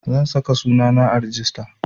Zan saka sunana a rijista